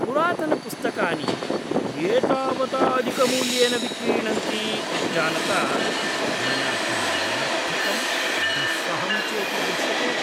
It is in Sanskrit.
पुरातनपुस्तकानि एतावता अधिकमूल्येन विक्रीणन्ति इति जानता मया तन्निरर्थकं दुःसहं चेति दृश्यते।